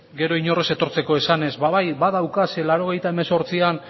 gero inor ez etortzeko esanez ba bai badauka ze laurogeita hemezortzian